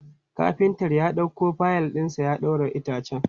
Kafintar ya ɗauko fayil ɗinsa ya ɗaura itacen.